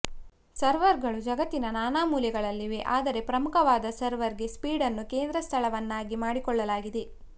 ಸರ್ವರ್ಗಳು ಜಗತ್ತಿನ ನಾನಾ ಮೂಲೆಗಳಲ್ಲಿವೆ ಆದರೆ ಪ್ರಮುಖವಾದ ಸರ್ವರ್ಗೆ ಸ್ವೀಡನ್ನ್ನು ಕೇಂದ್ರ ಸ್ಥಳವನ್ನಾಗಿ ಮಾಡಿಕೊಳ್ಳಲಾಗಿದೆ